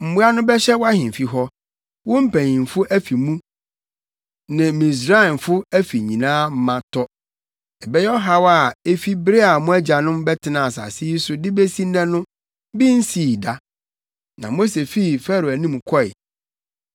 Mmoa no bɛhyɛ wʼahemfi hɔ, wo mpanyimfo afi mu ne Misraimfo afi nyinaa ma tɔ. Ɛbɛyɛ ɔhaw a, efi bere a mo agyanom bɛtenaa asase yi so de besi nnɛ no, bi nsii saa da.’ ” Na Mose fii Farao anim kɔe.